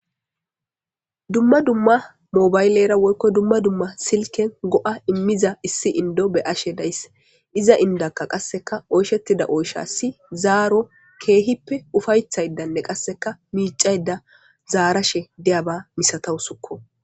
dumma dumma mobaylera woykko dumma dumma silken go'a immiza issi indo be ashe daysse iza indakka qasseka oyshettida oysha si zaaro keehippe ufayethaydanne qasseka miicayda zaarashe deyaba misatawusukko